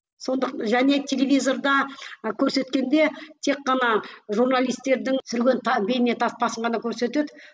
және телевизорда ы көрсеткенде тек қана журналистердің түсірген бейне таспасын ғана көрсетеді